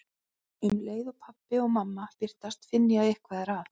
Um leið og pabbi og mamma birtast finn ég að eitthvað er að.